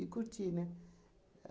curtir, né?